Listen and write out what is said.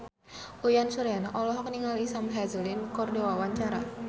Uyan Suryana olohok ningali Sam Hazeldine keur diwawancara